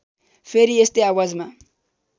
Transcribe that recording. फेरि यस्तै आवाजमा